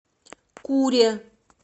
куре